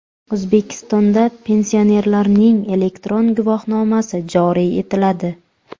O‘zbekistonda pensionerlarning elektron guvohnomasi joriy etiladi.